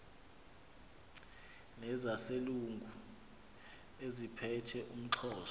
nezaselungu eziphethe umxhosa